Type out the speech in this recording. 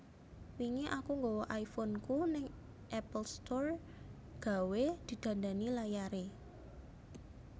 Wingi aku nggawa iPhone ku nang Apple Store gawe didandani layare